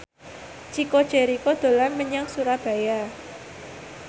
Chico Jericho dolan menyang Surabaya